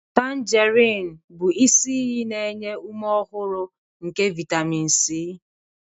Tanjerin bụ isi iyi na-enye ume ọhụrụ nke vitamin C.